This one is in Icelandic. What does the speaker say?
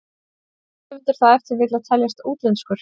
Ætti höfundur þá ef til vill að teljast útlenskur?